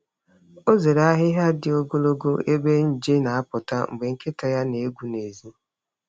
Ọ zere ahịhịa dị ogologo ebe nje na-apụta mgbe nkịta ya na-egwu n’èzí.